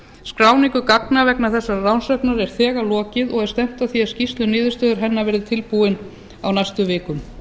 skráningu gagna vegna þessarar rannsóknar er þegar lokið og er stefnt að því að skýrsla um niðurstöður hennar verði tilbúin á næstu vikum